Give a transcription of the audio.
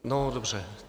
No dobře.